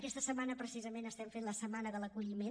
aquesta setmana precisament estem fent la setmana de l’acolliment